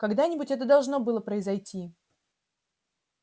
когда-нибудь это должно было произойти